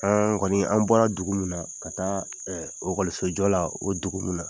An kɔni an bɔra dugu min na ka taa ekɔliso jɔ la, o dugu min na,